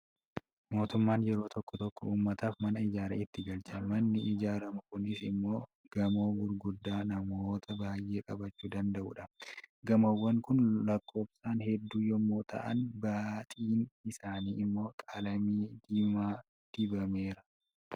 Mootummaan yeroo tokko tokko uummataaf mana ijaaree itti galcha. Manni ijaaramu kunis immoo gamoo gurguddaa namoota baay'ee qabachuu danda'udha. Gamoowwaan kun lakkoofsaan hedduu yommuu ta'an, baaxiin isaanii immoo qalamii diimaa dibameeera.